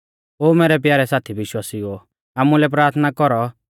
ओ मैरै प्यारै साथी विश्वासिउओ आमुलै प्राथना कौरौ